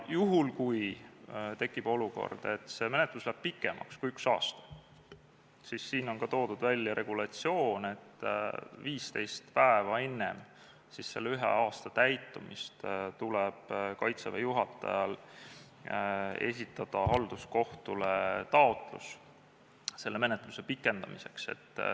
Juhul, kui tekib olukord, et menetlus läheb pikemaks kui üks aasta, siis siin on ka toodud välja regulatsioon, et 15 päeva enne ühe aasta täitumist tuleb Kaitseväe juhatajal esitada halduskohtule taotlus selle menetluse pikendamiseks.